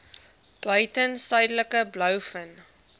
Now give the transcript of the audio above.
buiten suidelike blouvin